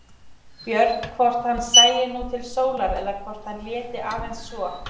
Björn hvort hann sæi nú til sólar eða hvort hann léti aðeins svo.